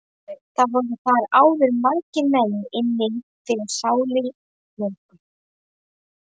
Voru þar áður margir menn inni fyrir sárir mjög.